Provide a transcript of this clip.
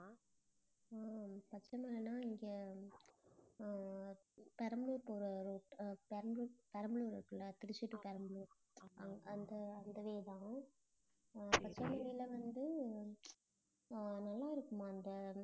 ஹம் பச்சைமலைனா இங்கே அஹ் பெரம்பலூர் போற road பெரம்பலூர், பெரம்பலூர் இருக்குல்ல திருச்சி to பெரம்பலூர் அந்த அந்த way தான் அஹ் பச்சைமலைல வந்து ஆஹ் நல்லா இருக்குமா அந்த